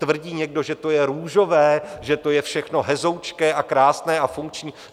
Tvrdí někdo, že to je růžové, že to je všechno hezoučké a krásné a funkční?